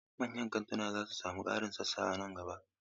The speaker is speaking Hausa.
Manyan kantuna za su sami ƙarin sassa a nan gaba.